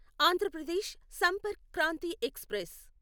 Andhra Pradesh Sampark Kranti express